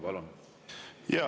Palun!